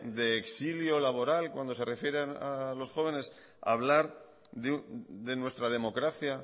de exilio laboral cuando se refieren a los jóvenes hablar de nuestra democracia